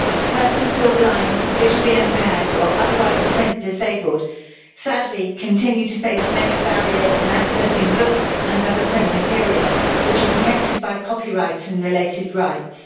Persons who are blind, visually impaired or otherwise print disabled sadly continue to face many barriers in accessing books and other print materials which are protected by copyright and related rights.